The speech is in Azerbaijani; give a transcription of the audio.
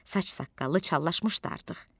Saç-saqqalı çallaşmışdı artıq.